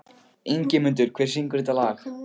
Ingimundur, hver syngur þetta lag?